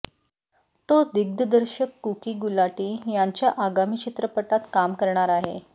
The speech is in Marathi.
तो दिग्दर्शक कूकी गुलाटी यांच्या आगामी चित्रपटात काम करणार आहे